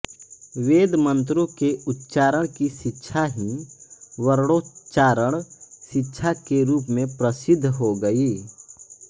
वेदमन्त्रों के उच्चारण की शिक्षा ही वर्णोच्चारण शिक्षा के रूप में प्रसिद्ध हो गई